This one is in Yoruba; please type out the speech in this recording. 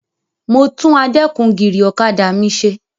Mo tún adẹ́kun-gìrì ọkọ̀ mi ṣe.